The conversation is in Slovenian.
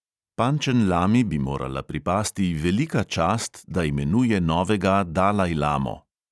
Pančenlami bi morala pripasti velika čast, da imenuje novega dalajlamo.